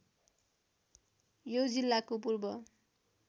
यो जिल्लाको पूर्व